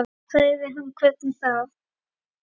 Þá sagði hann hvernig þá.